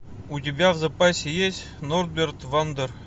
у тебя в запасе есть норберт вандер